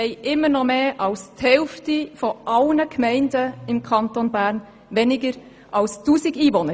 Heute haben immer noch mehr als die Hälfte seiner Gemeinden weniger als 1000 Einwohner.